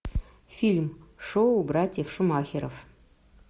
фильм шоу братьев шумахеров